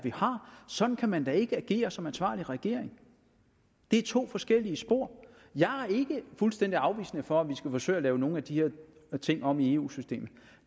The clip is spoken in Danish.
sådan kan man da ikke agere som ansvarlig regering det er to forskellige spor jeg er ikke fuldstændig afvisende over for at forsøge at lave nogle af de her ting om i eu systemet